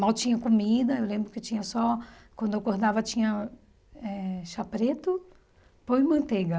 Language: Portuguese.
Mal tinha comida, eu lembro que tinha só... Quando eu acordava tinha eh chá preto, pão e manteiga.